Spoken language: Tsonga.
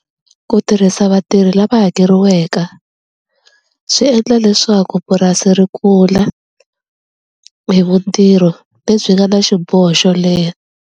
Ku tirhisa vatirhi lava hakeriweke swi endla leswaku purasi ri kula hi mintirho lebyi nga na xiboho xo leha.